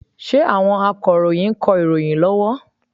Ṣé àwọn Akọ̀ròyìn ń kọ ìròyìn lọ́wọ́?